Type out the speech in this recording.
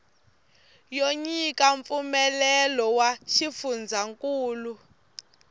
yo nyika mpfumelelo wa xifundzankulu